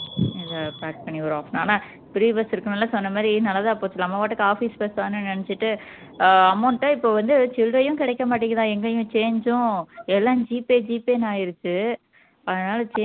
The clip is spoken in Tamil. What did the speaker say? free bus இருக்கும்ல நீ சொன்ன மாதிரி நல்லதா போச்சு நம்ம பாட்டுக்கு office bus தானேன்னு நினைச்சுட்டு ஆஹ் amount அ இப்போ வந்துட்டு சில்லறையும் கிடைக்க மாட்டேங்குதாம் எங்கேயும் change உம் எல்லாம் G பே G பேன்னு ஆயிருச்சு அதனால change